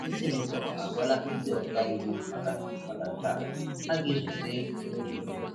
Ndị senator agwala ndị ọkà íwú maka maka nke a, ha ga-ezute n'ụlọikpe.